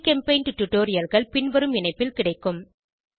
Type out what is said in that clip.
ஜிகெம்பெய்ண்ட் டுடோரியல்கள் பின்வரும் இணைப்பில் கிடைக்கும்